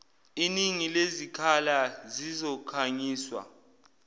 iningi lezikhala zizokhangiswa